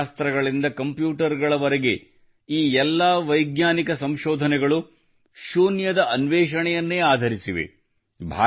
ಕಲನಶಾಸ್ತ್ರದಿಂದ ಕಂಪ್ಯೂಟರ್ಗಳವರೆಗೆ ಈ ಎಲ್ಲಾ ವೈಜ್ಞಾನಿಕ ಸಂಶೋಧನೆಗಳು ಶೂನ್ಯದ ಅನ್ವೇಷಣೆಯನ್ನೇ ಆಧರಿಸಿವೆ